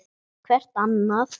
Hvert annað.